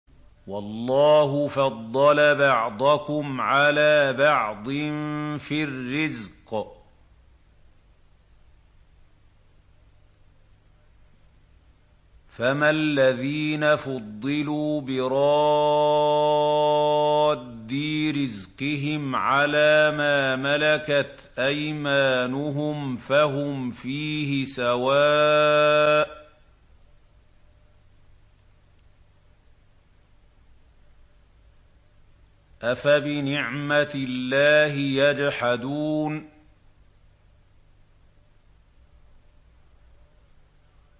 وَاللَّهُ فَضَّلَ بَعْضَكُمْ عَلَىٰ بَعْضٍ فِي الرِّزْقِ ۚ فَمَا الَّذِينَ فُضِّلُوا بِرَادِّي رِزْقِهِمْ عَلَىٰ مَا مَلَكَتْ أَيْمَانُهُمْ فَهُمْ فِيهِ سَوَاءٌ ۚ أَفَبِنِعْمَةِ اللَّهِ يَجْحَدُونَ